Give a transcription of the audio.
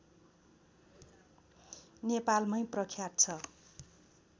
नेपालमै प्रख्यात छ